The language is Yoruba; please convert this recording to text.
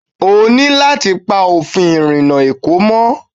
O ní láti pa òfin ìrìnà Èkó mọ́.